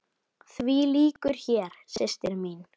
Því lýkur hér, systir mín.